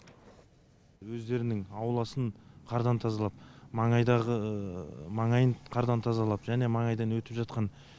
өздерінің ауласын қардан тазалап маңайдағы маңайын қардан тазалап және маңайдан өтіп жатқан